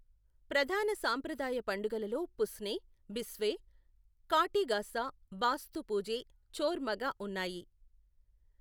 ప్రధాన సాంప్రదాయ పండుగలలో పుస్నే, బిస్వే, కాటి గాసా, బాస్తు పూజే, చోర్ మగా ఉన్నాయి.